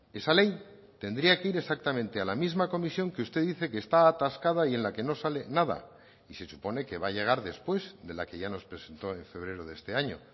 esa ley tendría que ir exactamente a la misma comisión que usted dice que está atascada y en la que no sale nada y se supone que va a llegar después de la que ya nos presentó en febrero de este año